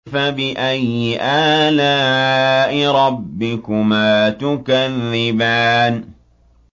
فَبِأَيِّ آلَاءِ رَبِّكُمَا تُكَذِّبَانِ